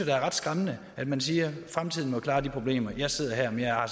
er ret skræmmende at man siger fremtiden må klare de problemer jeg sidder her men jeg har